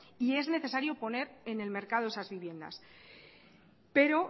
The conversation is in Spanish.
y es necesario poner en el mercado esas viviendas pero